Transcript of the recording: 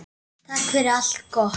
Takk fyrir allt gott.